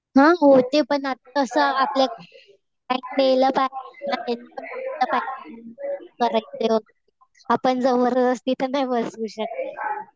हा हो. ते पण तसं आपण जबरदस्ती तर नाही बसू शकत.